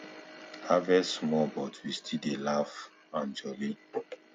harvest small but we still dey laugh and jolly